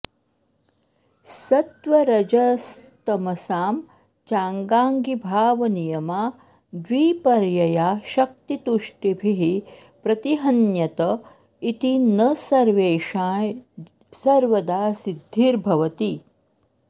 सत्त्वरजस्तमसां चाङ्गाङ्गिभावनियमाद्विपर्ययाशक्तितुष्टिभिः प्रतिहन्यत इति न सर्वेषां सर्वदा सिद्धिर्भवति